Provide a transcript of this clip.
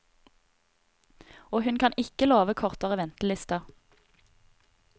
Og hun kan ikke love kortere ventelister.